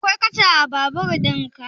Akwai katcha a babur ɗin ka?